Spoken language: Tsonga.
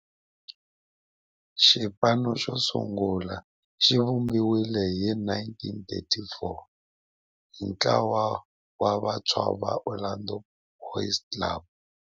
Xipano xosungula xivumbiwile hi 1934 hi ntlawa wa vantshwa va Orlando Boys Club.